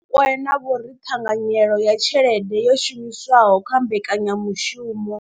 Vho Rakwena vho ri ṱhanganyelo ya tshelede yo shumiswaho kha mbekanya mushumo.